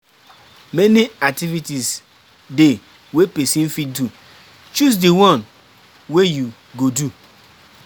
Many activities de wey persin fit do, choose di one wey you go do